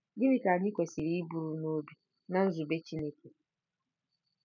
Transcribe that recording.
Gịnị ka anyị kwesịrị iburu n'obi na nzube Chineke?